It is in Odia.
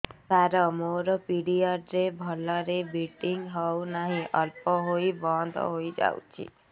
ସାର ମୋର ପିରିଅଡ଼ ରେ ଭଲରେ ବ୍ଲିଡ଼ିଙ୍ଗ ହଉନାହିଁ ଅଳ୍ପ ହୋଇ ବନ୍ଦ ହୋଇଯାଉଛି